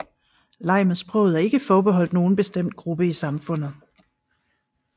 Leg med sproget er ikke forbeholdt nogen bestemt gruppe i samfundet